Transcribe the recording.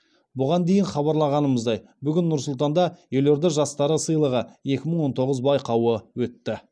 бұған дейін хабарлағанымыздай бүгін нұр сұлтанда елорда жастары сыйлығы екі мың он тоғыз байқауы өтті